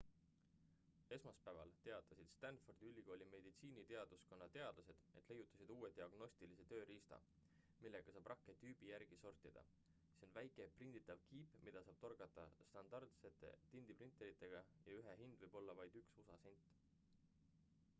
esmaspäeval teatasid stanfordi ülikooli meditsiiniteaduskonna teadlased et leiutasid uue diagnostilise tööriista millega saab rakke tüübi järgi sortida see on väike prinditav kiip mida saab toota standardsete tindiprinteritega ja ühe hind võib olla vaid 1usa sent